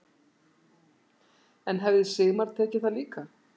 En hefði Sigmar tekið það líka?